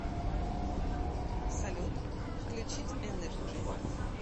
салют включить энерджи